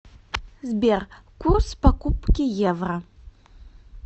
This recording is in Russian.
сбер курс покупки евро